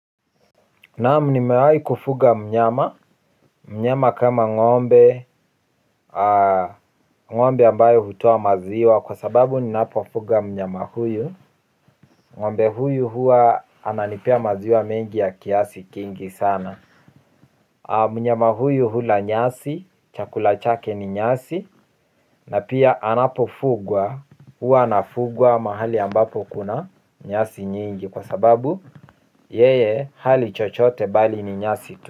Naam, nimewai kufuga mnyama, mnyama kama ng'ombe, ng'ombe ambaye hutoa maziwa kwa sababu ninapofuga mnyama huyu ng'ombe huyu hua ananipea maziwa mengi ya kiasi kingi sana. Mnyama huyu hula nyasi, chakula chake ni nyasi na pia anapofugwa, huwa anafugwa mahali ambapo kuna nyasi nyingi. Kwa sababu yeye hali chochote mbali ni nyasi tu.